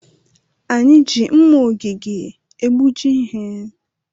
Anyị ji mma ogige egbuji ihe.